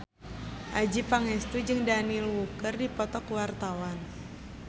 Adjie Pangestu jeung Daniel Wu keur dipoto ku wartawan